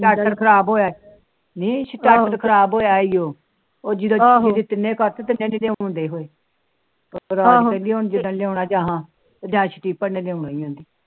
ਸਟਾਡਰ ਖਰਾਬ ਹੋਇਆ ਨੀ ਸ਼ਟਾਡਰ ਖਰਾਬ ਹੋਇਆ ਉਹ ਆਹੋ